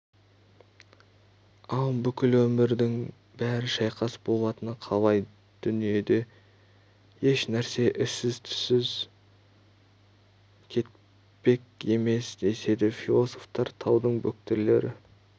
ал бүкіл өмірдің бәрі шайқас болатыны қалай дүниеде ешнәрсе ізсіз-түзсіз кетпек емес деседі философтар таудың бөктерлері